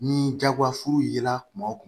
Ni jagoyafuru yela kumaw